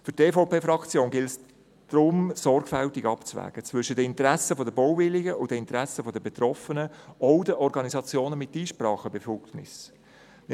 Für die EVP-Fraktion gilt es daher, sorgfältig zwischen den Interessen der Bauwilligen und den Interessen der Betroffenen, auch der Organisationen mit Einsprachebefugnis, abzuwägen.